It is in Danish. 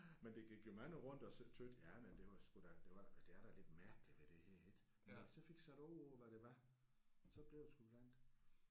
Men der gik jo mange rundt og så synes jamen det var sgu da det var det er da lidt mærkligt det der ik men da jeg så fik sat ord på hvad det var så blev det sgu glant